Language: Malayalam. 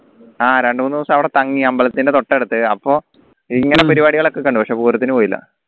ആ രണ്ടുമൂന്നു ദിവസം അവിടെ തങ്ങി അമ്പലത്തിന്റെ തൊട്ടടുത്ത് അപ്പോ ഇങ്ങനെ പരിപാടികളൊക്കെ കണ്ടു പക്ഷേ പൂരത്തിനു പോയില്ല